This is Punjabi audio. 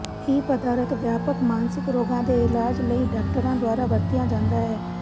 ਇਹ ਪਦਾਰਥ ਵਿਆਪਕ ਮਾਨਸਿਕ ਰੋਗਾਂ ਦੇ ਇਲਾਜ ਲਈ ਡਾਕਟਰਾਂ ਦੁਆਰਾ ਵਰਤਿਆ ਜਾਂਦਾ ਹੈ